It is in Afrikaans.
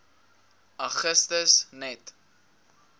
augustus net